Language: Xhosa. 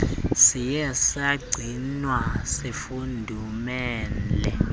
siye sagcinwa sifudumele